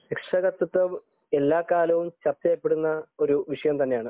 രക്ഷാകർതൃത്വം എല്ലാ കാലത്തും ചർച്ച ചെയ്യപ്പെടുന്ന ഒരു വിഷയം തന്നെയാണ്